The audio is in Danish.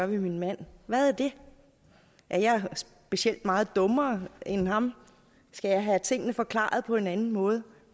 ved min mand hvad er det er jeg specielt meget dummere end ham skal jeg have tingene forklaret på en anden måde